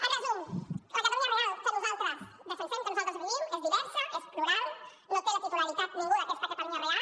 en resum la catalunya real que nosaltres defensem que nosaltres vivim és diversa és plural no en té la titularitat ningú d’aquesta catalunya real